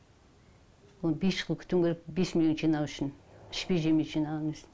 оны бес жыл күтуім керек бес миллион жинау үшін ішпей жемей жинаған кезде